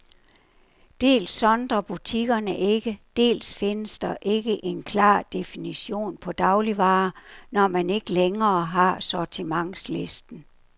Dels sondrer butikkerne ikke, dels findes der ikke en klar definition på dagligvarer, når man ikke længere har sortimentslisten.